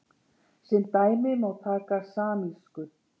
Sem dæmi má taka samísku.